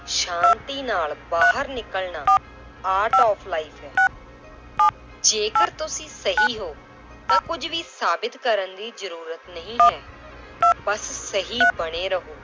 ਸ਼ਾਂਤੀ ਨਾਲ ਬਾਹਰ ਨਿਕਲਣਾ art of life ਹੈ ਜੇਕਰ ਤੁਸੀਂ ਸਹੀ ਹੋ ਤਾਂ ਕੁੱਝ ਵੀ ਸਾਬਿਤ ਕਰਨ ਦੀ ਜ਼ਰੂਰਤ ਨਹੀਂ ਹੈ ਬਸ ਸਹੀ ਬਣੇ ਰਹੋ।